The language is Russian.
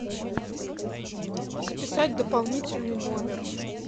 записать дополнительный номер